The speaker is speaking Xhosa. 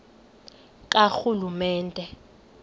karhulumente